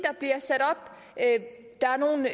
at der er nogle